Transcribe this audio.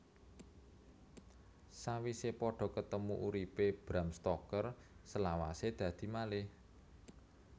Sawise padha ketemu uripe Bram Stoker selawase dadi malih